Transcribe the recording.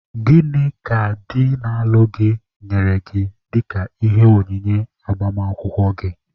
Gịnị ka di na-alụ gị nyere gị dịka ihe onyinye agbamakwụkwọ gị?